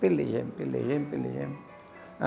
Pelejemos, pelejemos, pelejemos.